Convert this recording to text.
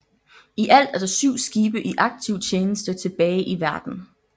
I alt er der syv skibe i aktiv tjeneste tilbage i verden